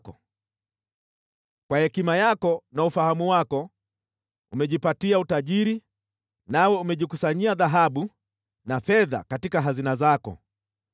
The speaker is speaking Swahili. Kwa hekima yako na ufahamu wako, umejipatia utajiri, nawe umejikusanyia dhahabu na fedha katika hazina zako.